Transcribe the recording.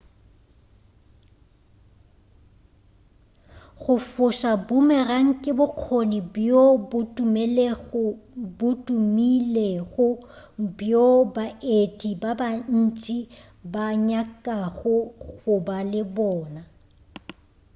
go foša boomerang ke bokgoni bjo bo tumilego bjoo baeti ba bantši ba nyakago go ba le bona